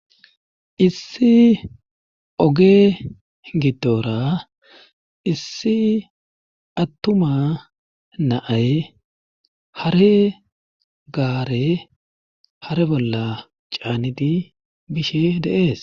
issi oge giddora issi attuma naay hare gaare hare bolla caanidi bishe deees